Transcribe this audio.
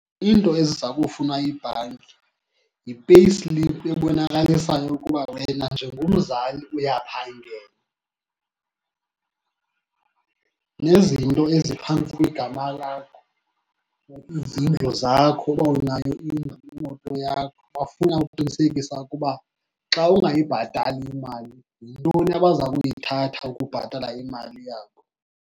Iinto eziza kufunwa yibhanki yi-payslip ebonakalisayo ukuba wena njengomzali uyaphangela, nezinto eziphantsi kwegama lakho, izindlu zakho uba anayo indlu, imoto yakho. Bafuna ukuqinisekisa ukuba xa ungayibhatali imali yintoni abaza kuyithatha ukubhatala imali yabo.